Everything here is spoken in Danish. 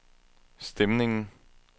stemningen